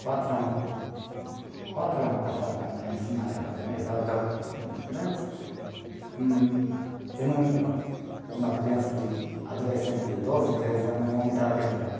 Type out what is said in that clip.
Quatro ano, quatro ano passado também, Eu não, não, uma criança de adolescente de doze, treze ano, o homem estava querendo bater.